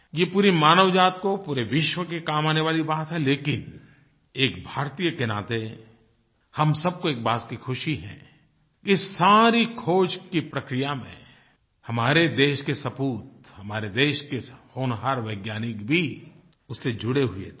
ये पूरी मानवजाति को पूरे विश्व के काम आने वाली बात है लेकिन एक भारतीय के नाते हम सब को इस बात की खुशी है कि सारी खोज की प्रक्रिया में हमारे देश के सपूत हमारे देश के होनहार वैज्ञानिक भी उससे जुड़े हुये थे